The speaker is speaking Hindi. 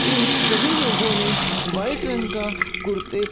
इन सभी लोगों ने व्हाइट रंग का कुर्ते--